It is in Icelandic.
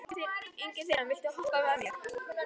Ingifinna, viltu hoppa með mér?